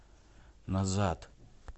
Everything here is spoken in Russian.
назад